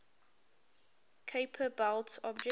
kuiper belt objects